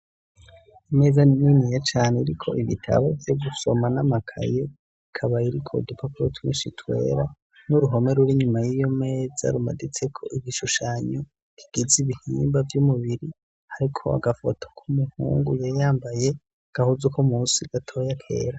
Imeza niniya cane iriko ibitabo vyo gusoma n'amakaye ikaba iriko udupapuro twinshi twera n'uruhome rw'inyuma y'iyo meza rumaditseko ibishushanyo kigize ibihimba vy'umubiri hariko agafoto k'umuhungu yari yambaye agahuze uko mu si gatoya kera.